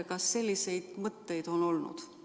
Kas selliseid mõtteid on olnud?